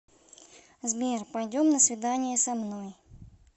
сбер пойдем на свидание со мной